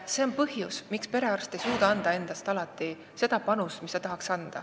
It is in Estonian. See on üks põhjus, miks perearst ei suuda alati anda seda panust, mis tahaks.